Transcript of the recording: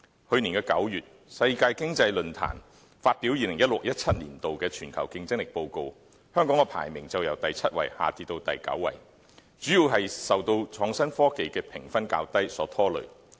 去年9月，世界經濟論壇發表 2016-2017 年度《全球競爭力報告》，香港的排名則由第七位下跌至第九位，主要是受創新科技的評分較低所拖累。